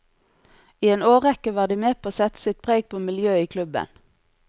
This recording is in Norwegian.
I en årrekke var de med på å sette sitt preg på miljøet i klubben.